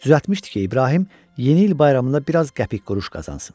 Düzəltmişdi ki, İbrahim yeni il bayramında biraz qəpik-quruş qazansın.